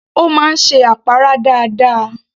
Ó máa ń ṣe àpárá dáadáa